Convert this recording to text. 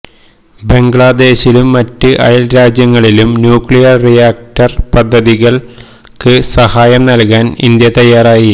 ബംഗ്ലാദേശിലും മറ്റ് അയൽരാജ്യങ്ങളിലും nuclear reactor പദ്ധതികൾക്ക് സഹായം നൽകാൻ ഇന്ത്യ തയ്യാറായി